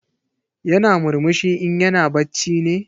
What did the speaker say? Yana murmushi in yana bacci ne?